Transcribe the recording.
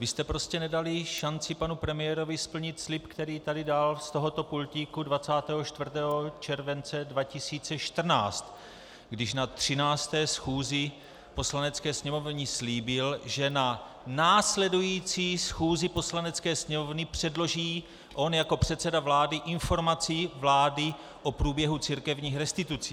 Vy jste prostě nedali šanci panu premiérovi splnit slib, který tu dal z tohoto pultíku 24. července 2014, když na 13. schůzi Poslanecké sněmovny slíbil, že na následující schůzi Poslanecké sněmovny předloží on jako předseda vlády informaci vlády o průběhu církevních restitucí.